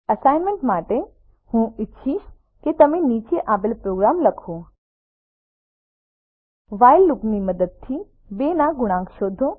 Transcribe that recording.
assignment તરીકે હું ઈચ્છીશ કે તમે નીચે આપેલ માટે પ્રોગ્રામ લખો વ્હાઇલ લૂપની મદદથી 2 ના ગુણાંક શોધો